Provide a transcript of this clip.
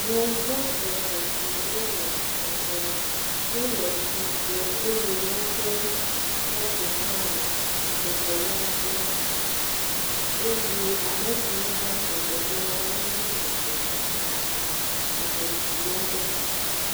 Yevu eve siawo le srɔ̃ ɖem. Wo le srɔ̃ ɖem eye woƒe sɔfo hã le srɔ̃ɖeɖe la yram eye ame siwo va srɔ̃ɖeƒe la wome sɔgbɔ gɔ hã o. Ame ŋee aɖe koe.